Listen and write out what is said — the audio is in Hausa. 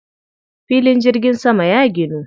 Filin jirgin saman ya ginu.